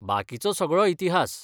बाकिचो सगळो इतिहास!